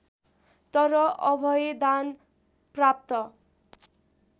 तर अभयदान प्राप्त